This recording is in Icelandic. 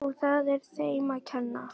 Og það er þeim að kenna.